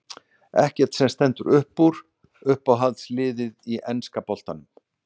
Ekkert sem stendur uppúr Uppáhalds lið í enska boltanum?